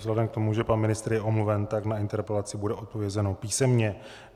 Vzhledem k tomu, že pan ministr je omluven, tak na interpelaci bude odpovězeno písemně.